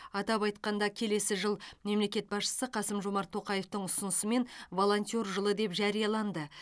атап айтқанда келесі жыл мемлекет басшысы қасым жомарт тоқаевтың ұсынысымен волонтер жылы деп жарияланды